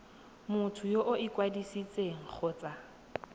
motho yo o ikwadisitseng kgotsa